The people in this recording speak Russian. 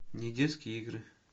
недетские игры